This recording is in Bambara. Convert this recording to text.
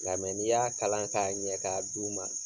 Nka n'i y'a kalan k'a ɲɛ ka d'u ma